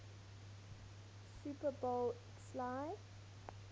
super bowl xliv